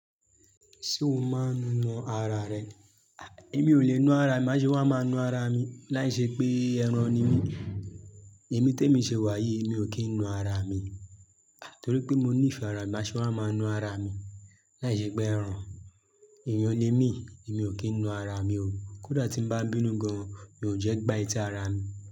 Ṣé o máa ń nu ara rẹ? Èmi ò le na ara mi, máṣe wà máa na ara mi. Láìṣẹ pé ẹran ni mí, èmi temi ṣe wà yìí mi ò kí ń na ara mi. Torí pé mo níìfẹ̀ ara mi, máṣe wà máa na ara mi. Láìṣẹ pé ẹran, èyàn le mí, èmi ò kí ń na ara mi o. Kódà tí ń bá bínú gan-an, mi ò jẹ́ gba eti ara mi.